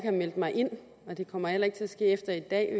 har meldt mig ind og det kommer heller ikke til at ske efter i dag